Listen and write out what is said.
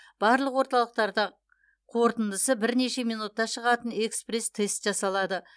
барлық орталықтарда қорытындысы бірнеше минутта шығатын экспресс тест жасалады